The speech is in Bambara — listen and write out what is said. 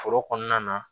Foro kɔnɔna na